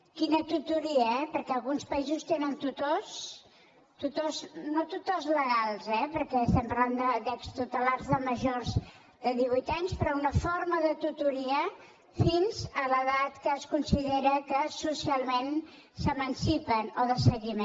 quina tutoria eh perquè alguns països tenen tutors no tutors legals eh perquè estem parlant d’extutelats majors de divuit anys però una forma de tutoria fins a l’edat que es considera que socialment s’emancipen o de seguiment